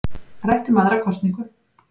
Rætt um aðra kosningu